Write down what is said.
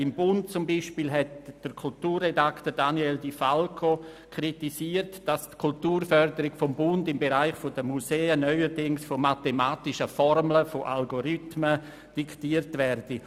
Im «Bund» hat beispielsweise der Kulturredaktor Daniel di Falco kritisiert, dass die Kulturförderung des Bundes im Bereich der Museen neuerdings von mathematischen Formeln, von Algorithmen, diktiert werde.